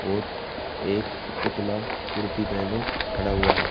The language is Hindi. और एक पुतला कुर्ती पहन खड़ा हुआ है।